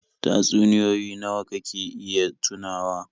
Tatsunioyi nawa kake iya tunawa?